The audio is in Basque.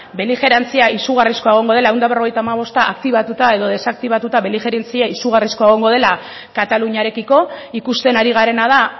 beligerantzia izugarrizkoa egongo dela ehun eta berrogeita hamabosta aktibatuta edo desaktibatuta beligerantzia izugarrizkoa egongo dela kataluniarekiko ikusten ari garena da